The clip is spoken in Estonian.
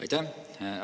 Aitäh!